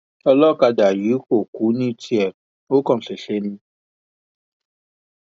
ọlọkadà yìí kò kú ní tiẹ ò kàn ṣẹṣẹ ní